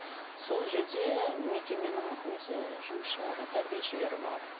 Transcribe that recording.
сол жерде мекеменің өзі жұмысшылары тәрбиешілері бар